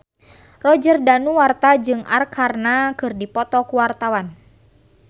Roger Danuarta jeung Arkarna keur dipoto ku wartawan